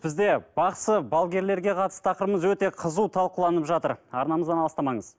бізде бақсы балгерлерге қатысты тақырыбымыз өте қызу талқыланып жатыр арнамыздан алыстамаңыз